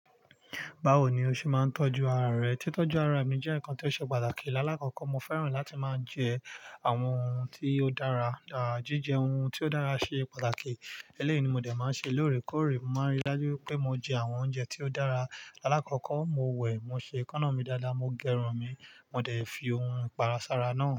Báwo ni o ṣe máa ń tọ́jú ara rẹ? Tí tọ́jú ara mi jẹ́ nǹkan tí ó ṣe pàtàkì. Láàkọ́kọ́ mo fẹ́ràn láti máa jẹ àwọn ohun tí ó dára. À jíjẹ ohun tí ó dára ṣe pàtàkì. Elẹ́yìí ni mo dẹ̀ máa ń ṣe lóòrèkóòrè. Mo máa n rí dájú wipé mo jẹ àwọn oúnjẹ tí ó dára. Láàkọ́kọ́ mo wẹ̀, mo ṣe ekánná mi dáadáa, mo gẹrun mi, mo dẹ̀ fi ohun ìpara sára náà.